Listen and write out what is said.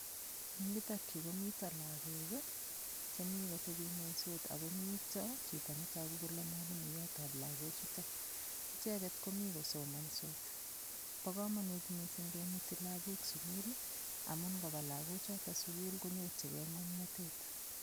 Eng' yutokyu komito lakok chemi kateping'wensot akomito chito netoku kole mwalimuiyotab lakochuto icheget komi kosomonsot Bo komonut mising' kemuti lakok sukul amun ngoba lakochuto sukul konyorchigei ng'omnotet